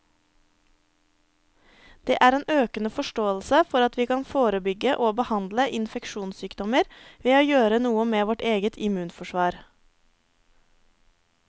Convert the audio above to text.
Det er en økende forståelse for at vi kan forebygge og behandle infeksjonssykdommer ved å gjøre noe med vårt eget immunforsvar.